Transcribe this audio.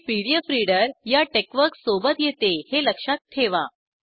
हे PDF reader या TeXworks सोबत येते हे लक्षात ठेवा